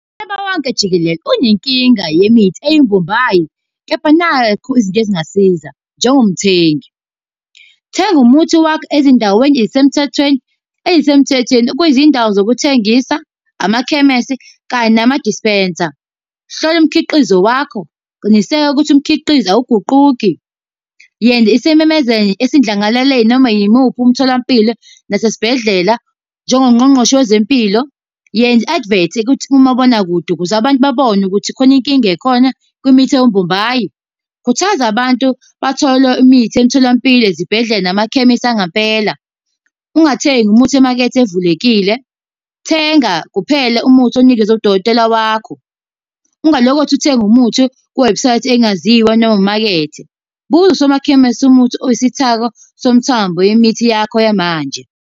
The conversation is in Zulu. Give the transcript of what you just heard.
Umhlaba wonke jikelele unenkinga yemithi eyimbombayi, kepha nakhu izinto ezingasiza njengomthengi. Thenga umuthi wakho ezindaweni ey'semthethweni, ey'semthethweni kwizindawo zokuthengisa, amakhemesi, kanye namadispensa. Hlola umkhiqizo wakho, qiniseka ukuthi umkhiqizo awuguquki. Yenza isimemezelo esindlangalaleni noma yimuphi umtholampilo nasesibhedlela, njengongqongqoshe wezempilo. Yenza i-advert ukuthi kumabonakude ukuze abantu babone ukuthi khona inkinga ekhona, kwimithi ewumbombayi. Khuthaza abantu bathole imithi emtholampilo, ezibhedlela, namakhemisi angempela. Ungathengi umuthi emakethe evulekile, thenga kuphela umuthi onikezwe udokotela wakho. Ungalokothi uthenge umuthi kuwebhusayithi engaziwa noma imakethe. Buza usomakhemisi umuthi oyisithako somthambo yemithi yakho yamanje.